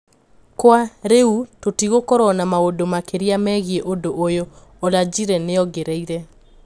"Kwa riu tũtigukorwo na maũndu makiria megie ũndũ ũyũ", Olajire niongereire.